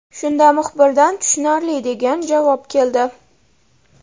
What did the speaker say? Shunda muxbirdan tushunarli degan javob keldi.